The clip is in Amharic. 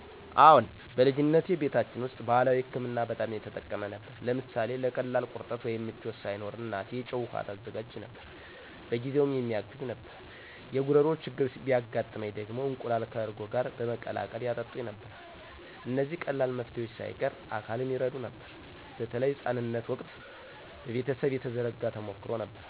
አዎን፣ በልጅነቴ ቤታችን ውስጥ ባህላዊ ሕክምና በጣም የተጠቀመ ነበር። ለምሳሌ ለቀላል ቁርጠት ወይም ምቾት ሳይኖር እናቴ የጨው ውሃ ታዘጋጅ ነበር፤ በጊዜውም የሚያግዝ ነበር። የጉሮሮ ችግር ቢያጋጥመኝ ደግሞ እንቁላል ከእርጎ ጋር በመቀላቀል ያጠጡኝ ነበር። እነዚህ ቀላል መፍትሄዎች ሳይቀር አካልን ይረዱ ነበር፣ በተለይ ሕፃንነት ወቅት በቤተሰብ የተዘረጋ ተሞክሮ ነበር።